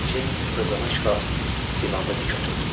Mericeyin hövlənak qalxıb divanda dik oturdu.